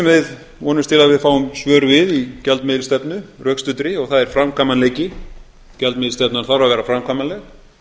við vonumst til að við fáum svör við í gjaldmiðilsstefnu rökstuddri og það er framkvæmanleiki gjaldmiðilsstefnan þarf að vera framkvæmanleg